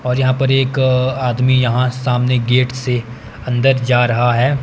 और यहाँ पर एक अ आदमी यहाँ सामने गेट से अंदर जा रहा हैं।